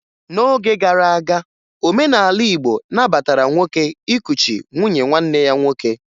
N'oge gara aga, omenala Igbo nabatara nwoke ịkụchi nwunye nwanne ya nwoke